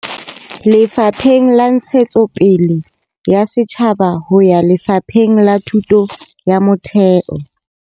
Lefapheng la Ntshetsopele ya Setjhaba ho ya Lefapheng la Thuto ya Motheo.